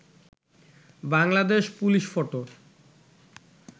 Bangladesh police photo